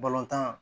Balontan